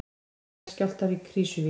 Jarðskjálftar í Krýsuvík